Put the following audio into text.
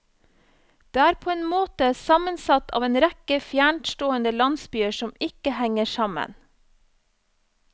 Den er på en måte sammensatt av en rekke fjerntstående landsbyer som ikke henger sammen.